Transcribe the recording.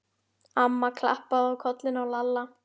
Amma klappaði á kollinn á Lalla.